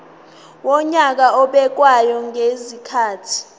wonyaka obekwayo ngezikhathi